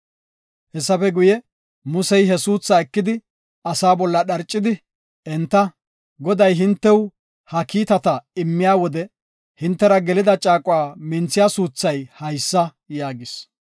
Hessafe guye, Musey he suuthaa ekidi, asaa bolla dharcidi, enta, “Goday hintew ha kiitata immiya wode hintera gelida caaquwa minthiya suuthay haysa” yaagis.